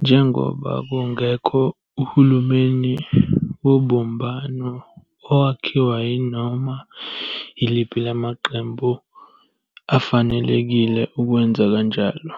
Njengoba kungekho uhulumeni wobumbano owakhiwa yinoma yiliphi lamaqembu afanelekile ukwenza kanjalo,